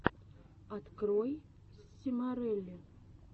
открой симорелли